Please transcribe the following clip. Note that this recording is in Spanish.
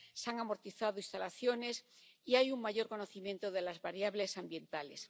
se han amortizado instalaciones y hay un mayor conocimiento de las variables ambientales.